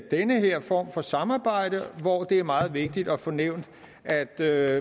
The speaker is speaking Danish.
den her form for samarbejde hvor det er meget vigtigt at få nævnt at der